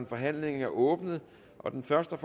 forhandlingen er åbnet og den første